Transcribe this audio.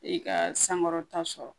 I ka sankɔrɔta sɔrɔ